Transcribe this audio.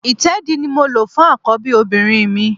Ìtẹ́ẹ̀dí ni mo lò fún àkọ́bí obìnrin mi